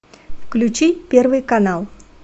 включи первый канал